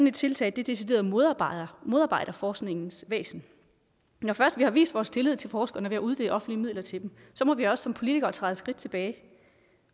et tiltag decideret modarbejder modarbejder forskningens væsen når først vi har vist vores tillid til forskerne ved at uddele offentlige midler til dem må vi også som politikere træde et skridt tilbage